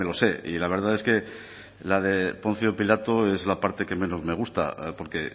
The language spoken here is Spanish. sé y la verdad es que la de poncio pilato es la parte que menos me gusta porque